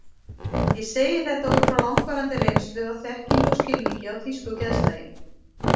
Ég segi þetta út frá langvarandi reynslu, af þekkingu og skilningi á þýsku geðslagi.